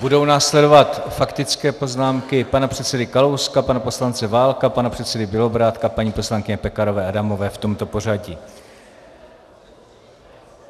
Budou následovat faktické poznámky pana předsedy Kalouska, pana poslance Válka, pana předsedy Bělobrádka, paní poslankyně Pekarové Adamové v tomto pořadí.